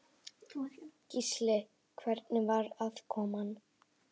Gísli: Hvernig var aðkoman?